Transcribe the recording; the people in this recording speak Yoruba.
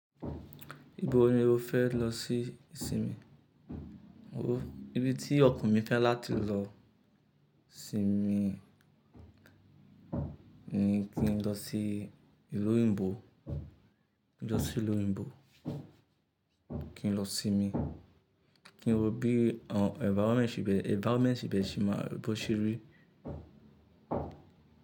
Ibo ni o fẹ́ lọ sí isinmi? O, ibi tí ọkan mi fẹ́ láti lọ sinmi ni kí n lọ sí ìlú òyìnbó, kí n lọ sí ìlú òyìnbó, kí n lọ sinmi, kí n wo bí environment ibẹ̀, environment ibẹ̀ ṣe máa bọ́ se rí.